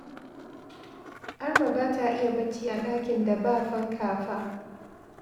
Arma ba ta iya bacci a ɗakin da ba fanka fa